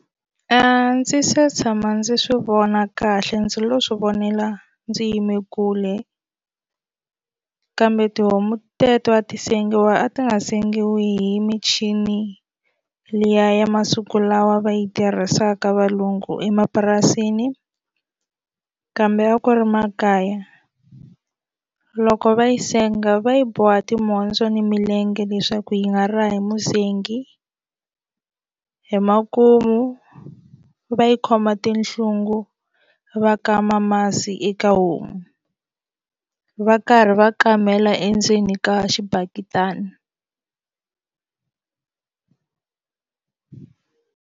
A ndzi se tshama ndzi swi vona kahle ndzi lo swi vonela ndzi yime kule kambe tihomu teto a ti sengiwa a ti nga sengiwa hi michini liya ya masiku lawa va yi tirhisaka valungu emapurasini kambe a ku ri makaya loko va yi senga va yi boha timhondzo ni milenge leswaku yi nga ra hi musengi hi makumu va yi khoma tinhlungu va kama masi eka homu va karhi va kamela endzeni ka xibaketani.